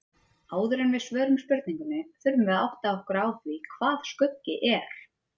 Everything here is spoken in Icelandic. Áður en við svörum spurningunni þurfum við að átta okkur á því hvað skuggi er.